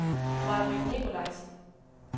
Majbritt Nikolajsen